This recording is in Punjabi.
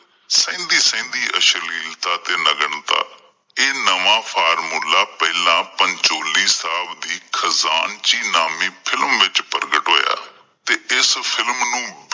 ਸਹਿਦੀਂ-ਸਹਿਦੀਂ ਅਸ਼ਲੀਤਾਂ ਤੇ ਨਗਨਤਾਂ ਇਹ ਨਵਾਂ formula ਪਹਿਲਾਂ ਪੰਚੋਲੀ ਸਾਹਿਬ ਦੀ ਖਚਾਨਜ਼ੀ ਨਾਮੀਂ film ਵਿੱਚ ਪ੍ਰਗਟ ਹੋਇਆ ਇਸ film ਨੂੰ